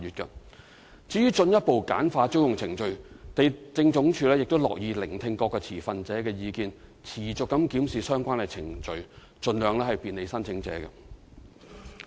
至於進一步簡化租用程序，地政總署樂意聆聽各持份者的意見，會持續檢視相關程序，盡量便利申請者。